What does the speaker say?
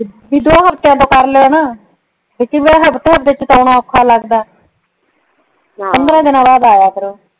ਜਦੋਂ ਤੇ ਕਈ ਵਾਰ ਓਖਾ ਲੱਗਦਾ ਪੰਦਰਾਂ ਦੀਨਾ ਆਯ ਕਰੋਂ